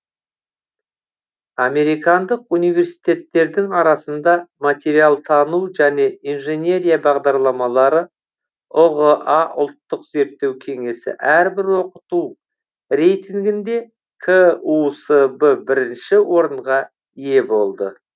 американдық университеттердің арасында материалтану және инженерия бағдарламалары ұға ұлттық зерттеу кеңесі әрбір оқыту рейтінгінде кусб бірінші орынға ие болды